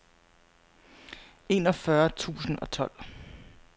enogfyrre tusind og tolv